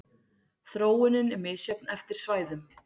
Þróunin er misjöfn eftir svæðum.